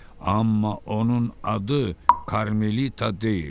Amma onun adı Karmelita deyil.